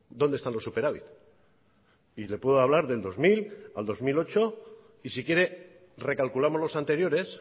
dónde están los superávit y le puedo hablar del dos mil al dos mil ocho y si quiere recalculamos los anteriores